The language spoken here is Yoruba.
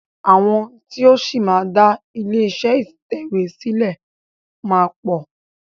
Àwọn tí o ṣì máa dá ilé iṣé ìtẹ̀wé sílẹ̀ máa pọ̀.